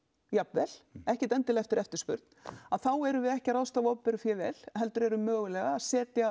jafnvel ekkert endilega eftir eftirspurn þá erum við ekki að ráðstafa opinberu fé vel heldur erum við hreinlega að setja